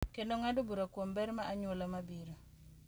Kendo ng’ado bura kuom ber mar anyuola mabiro.